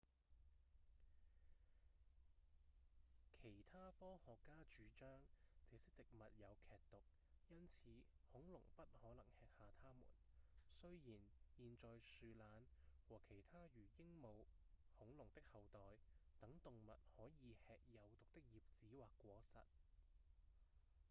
其他科學家主張這些植物有劇毒因此恐龍不可能吃下它們雖然現在樹懶和其他如鸚鵡恐龍的後代等動物可以吃有毒的葉子或果實